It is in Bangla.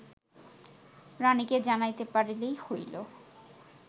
রাণীকে জানাইতে পারিলেই হইল